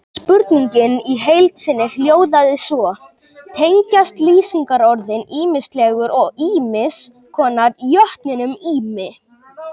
Spurningin í heild sinni hljóðaði svo: Tengjast lýsingarorðin ýmislegur og ýmiss konar jötninum Ými?